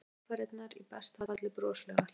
Aðfarirnar í besta falli broslegar.